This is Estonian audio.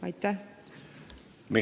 Aitäh!